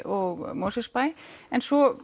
og Mosfellsbæ en svo